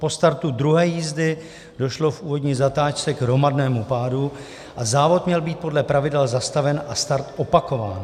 Po startu druhé jízdy došlo v úvodní zatáčce k hromadnému pádu a závod měl být podle pravidel zastaven a start opakován.